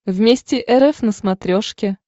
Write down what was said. вместе рф на смотрешке